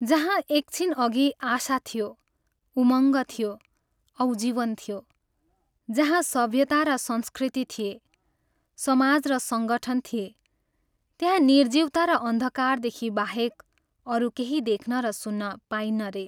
जहाँ एक छिनअघि आशा थियो, उमङ्ग थियो औ जीवन थियो, जहाँ सभ्यता र संस्कृति थिए, समाज र संगठन थिए, त्यहाँ निर्जीवता र अन्धकारदेखि बाहेक अरू केही देख्न र सुन्न पाइन्न रे।